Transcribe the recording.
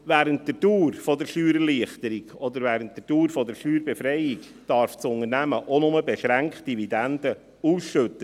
Während der Dauer einer Steuererleichterung oder während der Dauer der Steuerbefreiung darf das Unternehmen nur beschränkt Dividenden ausschütten.